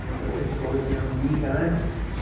Minha protetora, minha amiga, né?